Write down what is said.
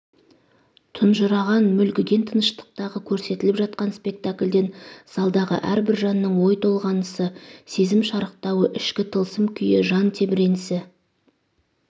тұнжыраған мүлгіген тыныштықтағы көрсетіліп жатқан спектаклъден залдағы әрбір жанның ой толғанысы сезім шарықтауы ішкі тылсым күйі жан тебіренісі